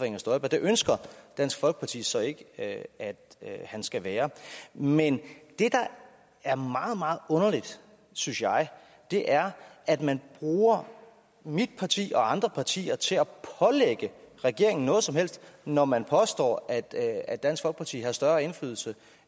inger støjberg det ønsker dansk folkeparti så ikke at han skal være men det der er meget meget underligt synes jeg er at man bruger mit parti og andre partier til at pålægge regeringen noget som helst når man påstår at at dansk folkeparti har større indflydelse